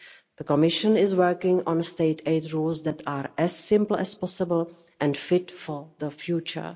The Commission is working on state aid rules that are as simple as possible and fit for the future.